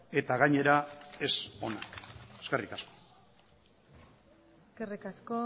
eta gainera ez ona eskerrik asko eskerrik asko